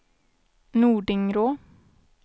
Nordingrå